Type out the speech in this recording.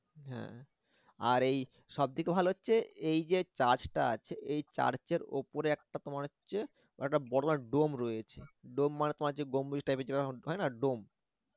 হ্যা আর এই সবথেকে ভালো হচ্ছে এই যে church টা আছে এই church এর উপরে তোমার হচ্ছে একটা বড় dome রয়েছে dome মানে তোমার গম্বুজ type এর যেরকম হয় না dome